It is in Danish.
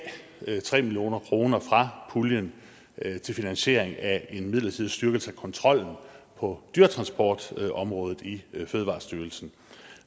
tre million kroner fra puljen til finansiering af en midlertidig styrkelse af kontrollen på dyretransportområdet i fødevarestyrelsen